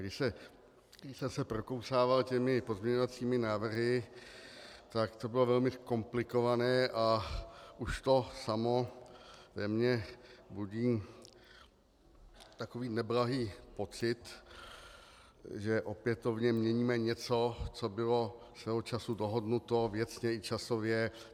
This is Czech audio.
Když jsem se prokousával těmi pozměňovacími návrhy, tak to bylo velmi komplikované a už to samo ve mně budí takový neblahý pocit, že opětovně měníme něco, co bylo svého času dohodnuto věcně i časově.